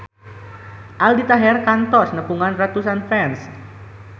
Aldi Taher kantos nepungan ratusan fans